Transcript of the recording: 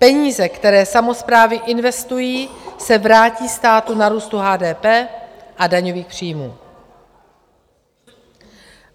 Peníze, které samosprávy investují, se vrátí státu na růstu HDP a daňových příjmů.